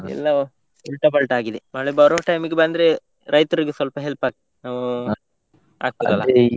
ಎಲ್ಲಾ उल्टा पल्टा ಆಗಿದೆ, ಮಳೆ ಬರುವ time ಈಗೆ ಬಂದ್ರೆ ರೈತರಿಗೆ ಸ್ವಲ್ಪ help ಆಗ್ತಿತ್ತು ಹೂ ಆಗ್ತದಲ್ಲ.